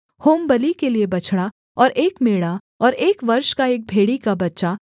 होमबलि के लिये बछड़ा और एक मेढ़ा और एक वर्ष का एक भेड़ी का बच्चा